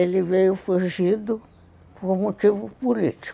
Ele veio fugido por motivo político.